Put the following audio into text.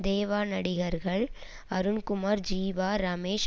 தேவா நடிகர்கள் அருண்குமார் ஜீவா ரமேஷ்